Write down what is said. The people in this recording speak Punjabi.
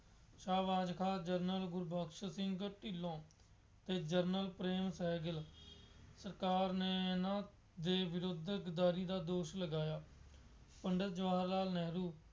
ਸ਼ਾਹਬਾਜ ਖਾਂ ਜਨਰਲ ਗੁਰਬਖਸ਼ ਸਿੰਘ ਢਿੱਲੋਂ ਅਤੇ ਜਨਰਲ ਪ੍ਰੇਮ ਸਹਿਗਲ ਸਰਕਾਰ ਨੇ ਇਹਨਾ ਦੇ ਵਿਰੁੱਧ ਗਦਾਰੀ ਦਾ ਦੋਸ਼ ਲਗਾਇਆ। ਪੰਡਿਤ ਜਵਾਹਰ ਲਾਲ ਨਹਿਰੂ